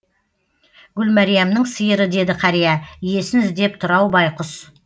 гүлмәриямның сиыры деді қария иесін іздеп тұр ау байқұс